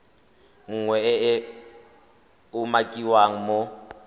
nngwe e e umakiwang mo